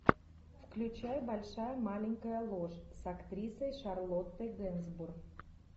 включай большая маленькая ложь с актрисой шарлоттой генсбур